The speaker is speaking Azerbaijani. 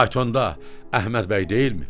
Faytonda Əhməd bəy deyilmi?